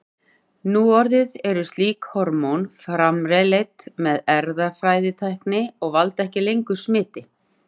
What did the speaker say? Núorðið eru slík hormón framleidd með erfðatækni og valda ekki lengur smiti.